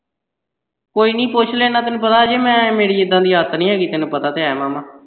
ਕੋਈ ਨੀ ਪੁੱਛ ਲੈਂਦਾ ਤੈਨੂੰ ਪਤਾ ਅਜੇ ਮੈਂ ਮੇਰੀ ਇੱਦਾਂ ਦੀ ਆਦਤ ਨੀ ਹੈਗੀ ਤੈਨੂੰ ਪਤਾ ਤੇ ਹੈ ਮਾਮਾ।